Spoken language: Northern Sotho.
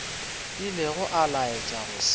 ilego a laetša go se